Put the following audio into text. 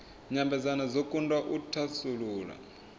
nyambedzano dzo kundwa u thasulula